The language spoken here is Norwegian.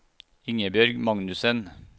Ingebjørg Magnussen